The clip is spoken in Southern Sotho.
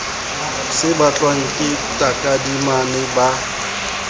se batlwang ke takadimane ba